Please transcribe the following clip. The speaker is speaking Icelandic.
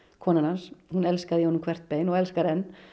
konan hans hún elskaði í honum hvert bein og elskar enn